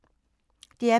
DR P2